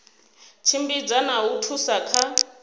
tshimbidza na u thusa kha